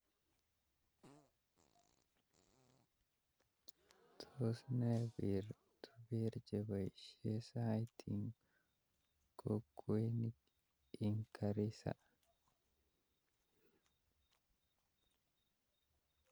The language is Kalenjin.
Tos nrr peer to peer akepaishe saiti ing kokwonik ing Garissa